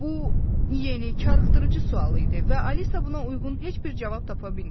Bu yeni karıxdırıcı sualı idi və Alisa buna uyğun heç bir cavab tapa bilmədi.